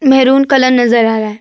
Maroon colour नज़र आ रहा है।